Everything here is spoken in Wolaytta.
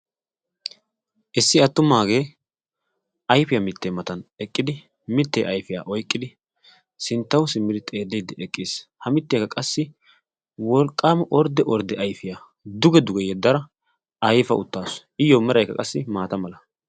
Issi attumagee ayfiyaa mittee matan eqqidi mittee ayfiyaa oyqqidi sinttaw simmidi xeellidi eqqis. ha mittiyaa qassi wolqqaama ordde ordde ayfiyaa ayfa uttaasu. iyoo merakka qassi maata mala.